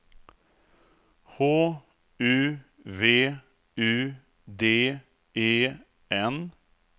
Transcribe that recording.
H U V U D E N